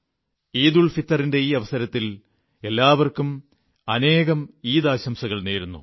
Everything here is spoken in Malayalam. ഈദ് ഉൽഫിത്തറിന്റെ ഈ അവസരത്തിൽ എല്ലാവർക്കും അനേകം ഈദ് ആശംസകൾ നേരുന്നു